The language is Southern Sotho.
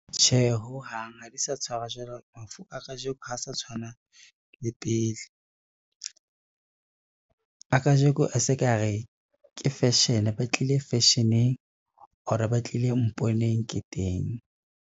Tjhe, ho hang ha di sa tshwarwa jwalo. Mafu a kajeko ha sa tshwana le pele, a kajeko a se ka re ke fashion, ba tlile fashion-eng or ba tlile mponeng ke teng.